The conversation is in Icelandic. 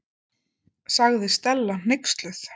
sagði Stella hneyksluð.